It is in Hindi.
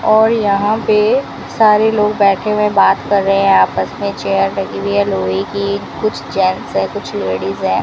और यहां पे सारे लोग बैठे हुए बात कर रहे हैं आपस में चेयर लगी हुई है लोहे की कुछ जेंट्स है कुछ लेडिस है।